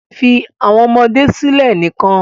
Fi awọn ọmọde silẹ nikan